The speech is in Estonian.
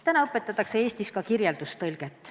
Täna õpetatakse ka Eestis kirjeldustõlget.